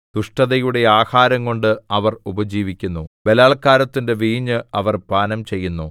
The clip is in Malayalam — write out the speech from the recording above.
ദുഷ്ടതയുടെ ആഹാരംകൊണ്ട് അവർ ഉപജീവിക്കുന്നു ബലാല്ക്കാരത്തിന്റെ വീഞ്ഞ് അവർ പാനംചെയ്യുന്നു